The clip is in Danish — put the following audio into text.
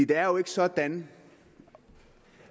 det er jo ikke sådan